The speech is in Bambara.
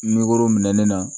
minɛn na